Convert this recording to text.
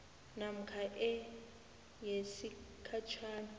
namkha e yesigatjana